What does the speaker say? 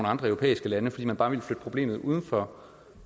andre europæiske lande fordi man bare ville flytte problemet uden for